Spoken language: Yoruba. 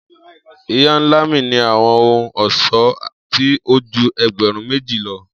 Iya-nla mi ni awọn ohun-ọṣọ ti o ju ẹgbẹrun meji lọ.